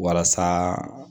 Walasa